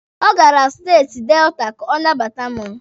O gara steeti Delta ka ọ nabata mụ